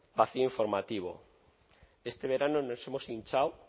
vacío informativo este verano nos hemos hinchado